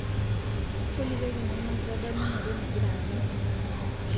tolikioki nanu enkitadamunoto nagira aanyu